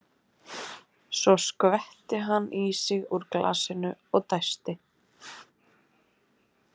Svo skvetti hann í sig úr glasinu og dæsti.